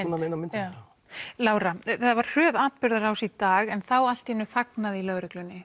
inn á myndina Lára það var hröð atburðarás í dag en þá allt í einu þagnaði í lögreglunni